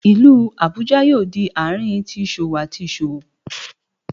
Ilu Abuja yoo di aarin ti iṣowo ati iṣowo